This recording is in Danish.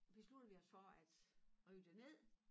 Besluttede vi og for at rive det ned